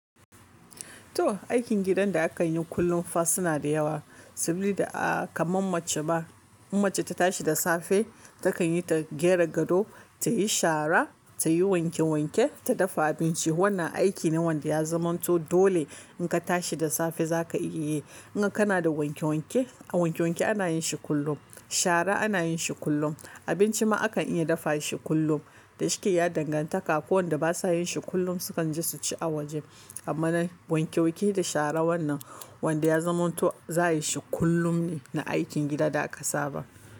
To aikin gidan da aka yi kullum fa suna da yawa saboda a kaman mace ma. In mace ta tashi da safe takan yi ta gyara gado, ta yi shara, ta yi wanke wanke, ta dafa abinci. Wannan aiki ne wanda ya zamanto dole in ka tashi da safe za ka iya yi. In kana da wanke wanke, a wanke wanke ana yin shi kullum, shara ana yin shi kullum, abinci ma akan iya dafa shi kullum. Da shuke ya dangantaka akwai wanda ba sa yin shi kullum sukan je su ci a waje. Amma na wanke wanke da shara wannan wanda ya zamanto za a yi shi kullum ne na aikin gida da aka saba.